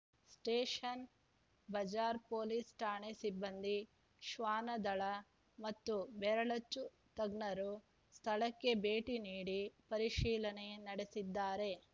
station Bazar police ಠಾಣೆ ಸಿಬ್ಬಂದಿ ಶ್ವಾನದಳ ಮತ್ತು ಬೆರಳಚ್ಚು ತಜ್ಞರು ಸ್ಥಳಕ್ಕೆ ಭೇಟಿ ನೀಡಿ ಪರಿಶೀಲನೆ ನಡೆಸಿದ್ದಾರೆ